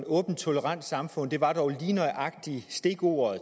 åbent tolerant samfund hvor